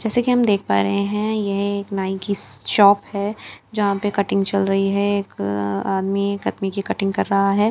जैसे कि हम देख पा रहे हैं यह एक नाई की शॉप है यहां पे कटिंग चल रही है एक आदमी एक आदमी की कटिंग कर रहा है।